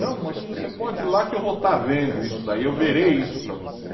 Não, mas você pode ir lá que eu vou estar vendo isso daí, eu verei isso para você.